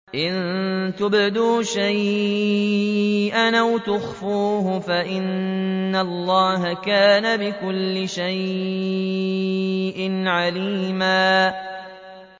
إِن تُبْدُوا شَيْئًا أَوْ تُخْفُوهُ فَإِنَّ اللَّهَ كَانَ بِكُلِّ شَيْءٍ عَلِيمًا